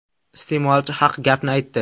Iste’molchi haq gapni aytdi.